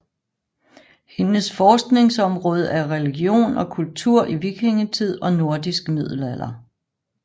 Hendes forskningsområde er religion og kultur i vikingetid og nordisk middelalder